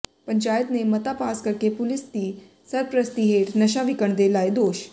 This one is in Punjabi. ਪੰਚਾਇਤ ਨੇ ਮਤਾ ਪਾਸ ਕਰਕੇ ਪੁਲੀਸ ਦੀ ਸਰਪ੍ਰਸਤੀ ਹੇਠ ਨਸ਼ਾ ਵਿਕਣ ਦੇ ਲਾਏ ਦੋਸ਼